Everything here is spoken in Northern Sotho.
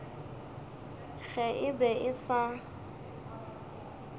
ge e be e sa